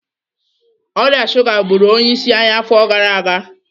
Ọrịa shuga gburu onye isi anyị afọ gara aga.